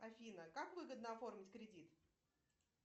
афина как выгодно оформить кредит